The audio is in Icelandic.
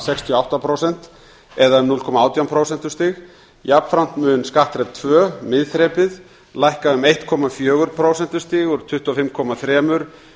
og átta prósent það er um núll komma átján prósentustig jafnframt mun skattþrep tvö miðþrepið lækka um eitt komma fjögur prósentustig úr tuttugu og fimm komma þrjú prósent